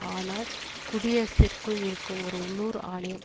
ஆனால் குடியரசிற்குள் இருக்கும் ஒரு உள்ளூர் ஆணையம்